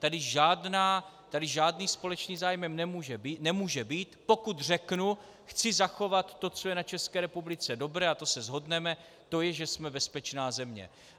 Tady žádný společný zájem nemůže být, pokud řeknu "chci zachovat to, co je na České republice dobré", a to se shodneme, to je, že jsme bezpečná země.